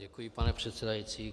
Děkuji, pane předsedající.